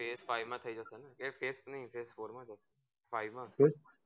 ps five માં થઈ જસે કે PS three PS four માં જસે five માં બોલ